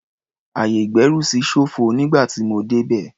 Ayè-ìgbẹ́rùsí ṣófo nígbà tí mo débẹ̀.